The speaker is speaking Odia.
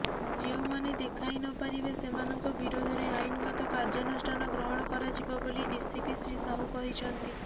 ଯେଉଁମାନେ ଦେଖାଇ ନପାରିବେ ସେମାନଙ୍କ ବିରୋଧରେ ଆଇନଗତ କାର୍ଯ୍ୟାନୁଷ୍ଠାନ ଗ୍ରହଣ କରାଯିବ ବୋଲି ଡିସିପି ଶ୍ରୀ ସାହୁ କହିଛନ୍ତି